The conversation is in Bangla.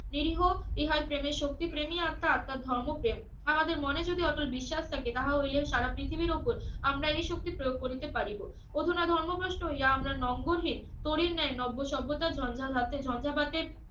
নিরিহ ইহার প্রেমের শক্তি প্রেমি অর্থাৎ তার ধর্মপ্রেম আমাদের মনে যদি অতই বিশ্বাস থাকে তাহা হইলে সারা পৃথিবীর ওপর আমরা এই শক্তি প্রয়োগ করিতে পারিব অধুনা ধর্গ্রমস্থ ইহা আমরা নোঙ্গরহীন তরীর ন্যায় নব্য সভ্যতা ঝঞ্ঝা ধাতে ঝঞ্ঝাভাতে